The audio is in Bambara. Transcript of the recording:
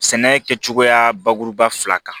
Sɛnɛ kɛcogoya bakuruba fila kan